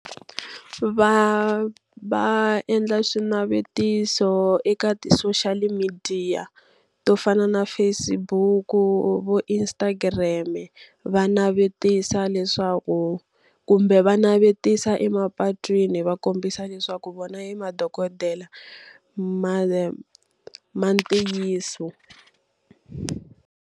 Va va endla swinavetiso eka ti-social midiya to fana na Facebook-u vo Instagram-e. Va navetisa leswaku kumbe va navetisa emapatwini va kombisa leswaku vona i madokodela ma ma ntiyiso.